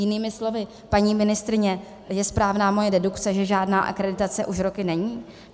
Jinými slovy, paní ministryně, je správná moje dedukce, že žádná akreditace už roky není?